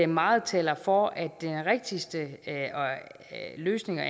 meget taler for at den rigtigste løsning at